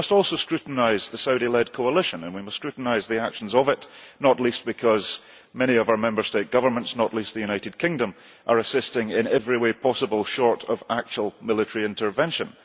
But we must also scrutinise the Saudi led coalition, and we must scrutinise the actions of it, not least because many of our Member State governments not least the United Kingdom are assisting in every way possible, short of actual military intervention.